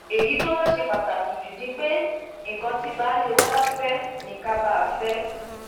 èyí tó wàá ṣe pàtàkì jù ni pé nǹkan tí baálé wa bá fẹ ká bá a fẹ ẹ